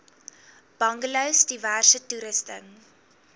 bungalows diverse toerusting